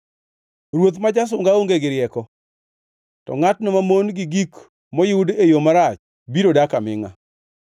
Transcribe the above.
Ruoth ma jasunga onge gi rieko, to ngʼatno mamon gi gik moyud e yo marach biro dak amingʼa.